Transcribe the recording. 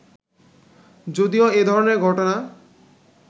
যদিও এ ধরনের ঘটনা